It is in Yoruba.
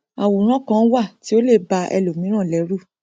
àwòrán kan wà tí ó lè ba ẹlòmíràn lẹrù